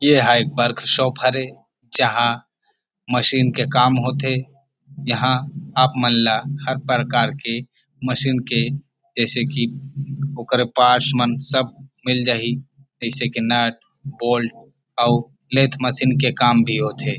ये ह एक वर्क शॉप हरे जहां मशीन के काम हो थे यहाँ आप मन ला हर प्रकार के मशीन के जैसे की ओकर पार्ट्स मन सब मिल जही जैसे की नट बोल्ट और लेंथ मशीन के काम भी होथे।